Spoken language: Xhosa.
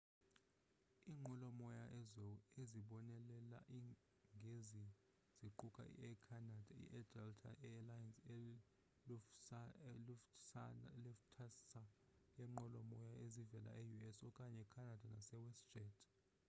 iinqwelo-moya ezibonelela ngezi ziquka i-air canada i-delta air lines i-lufthansa yeenqwelo-moya ezivela e-us okanye canada nase westjet